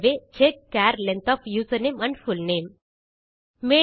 ஆகவே check char length of username and full name